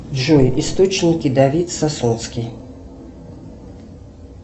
джой источники давид сасунский